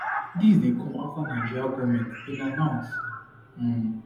dis dey come afta nigerian goment bin announce um